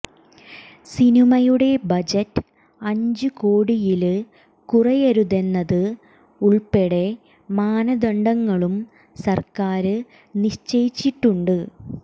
സിനിമയുടെ ബജറ്റ് അഞ്ച് കോടിയില് കുറയരുതെന്നത് ഉള്പ്പെടെ മാനദണ്ഡങ്ങളും സര്ക്കാര് നിശ്ചയിച്ചിട്ടുണ്ട്